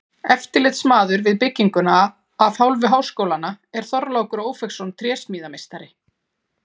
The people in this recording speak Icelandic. Eftirlitsmaður við bygginguna af hálfu háskólans er Þorlákur Ófeigsson trésmíðameistari.